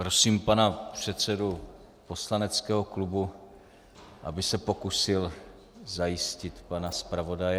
Prosím, pana předsedu poslaneckého klubu, aby se pokusil zajistit pana zpravodaje.